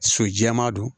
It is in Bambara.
So jɛman don